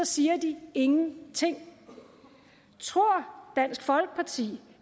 siger de ingenting tror dansk folkeparti